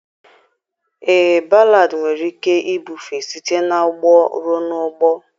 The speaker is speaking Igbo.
Ee, Ballad nwere ike ibufe site n'ọgbọ ruo n'ọgbọ